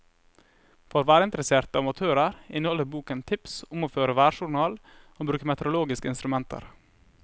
For værinteresserte amatører inneholder boken tips om å føre værjournal og bruke meteorologiske instrumenter.